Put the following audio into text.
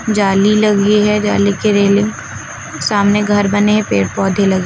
जाली लगी है जाली की रेलिंग सामने घर बने पेड़ पौधे लगे--